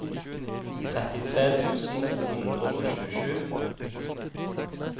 trettitre tusen to hundre og tjuesju